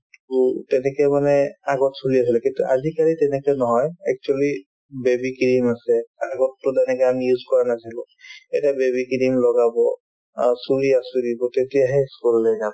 to তেনেকে মানে আগত চলি আছিলে কিন্তু আজিকালি তেনেকে নহয় actually baby cream আছে আগততো তেনেকে আমি use কৰা নাছিলো এতিয়া baby cream লগাব অ চুলি আঁচোৰিব তেতিয়াহে ই school ললৈ যাব